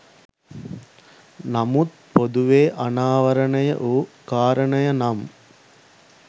නමුත් පොදුවේ අනාවරණය වූ කාරණය නම්